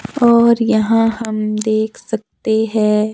और यहां हम देख सकते है।